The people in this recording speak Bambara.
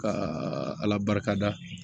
Ka ala barika da